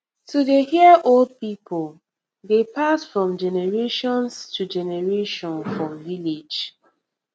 to dey hear old people dey pass from generations to generation for village